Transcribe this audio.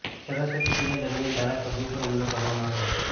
સરસ્વતી પૂજા દરમિયાન ધારાસભ્ય પર હુમલો કરવામાં આવ્યો હતો